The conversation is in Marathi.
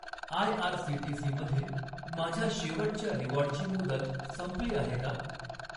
आयआरसीटीसी मधील माझ्या शेवटच्या रिवॉर्डची मुदत संपली आहे का?